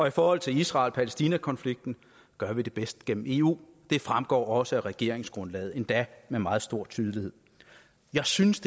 i forhold til israel palæstina konflikten gør vi det bedst gennem eu det fremgår også af regeringsgrundlaget endda med meget stor tydelighed jeg synes